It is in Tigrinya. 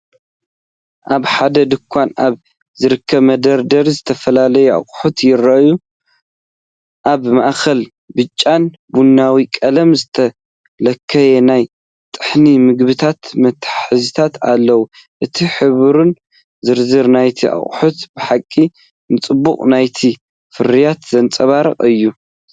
ኣብ ሓደ ድኳን ኣብ ዝርከብ መደርደሪ ዝተፈላለዩ ኣቑሑት ይረአዩ። ኣብ ማእከል ብጫን ቡናውን ቀለም ዝተለኽዩ ናይ ጥሑን ምግብታት መትሓዚታት ኣለዉ። እቲ ሕብርን ዝርዝር ናይቲ ኣቑሑትን ብሓቂ ንጽባቐ ናይቲ ፍርያት ዘንጸባርቕ እዩ።